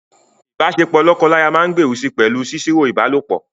Ìbáṣepọ̀ lọ́kọláya máa gbèrú si pẹ̀lú sísọ̀rọ̀ ìbálòpọ̀.